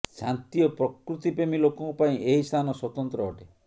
ଶାନ୍ତି ଓ ପ୍ରକୃତି ପ୍ରେମୀ ଲୋକଙ୍କ ପାଇଁ ଏହି ସ୍ଥାନ ସ୍ୱତନ୍ତ୍ର ଅଟେ